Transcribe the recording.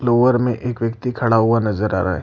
Floor में एक व्यक्ति खड़ा हुआ नजर आ रहा है।